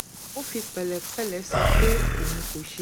ó fi pẹ̀lẹ́pẹ̀lẹ́ sọ pé òun kò ṣe